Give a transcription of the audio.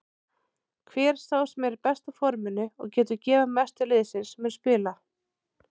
Hver sá sem er í besta forminu og getur gefið mest til liðsins mun spila.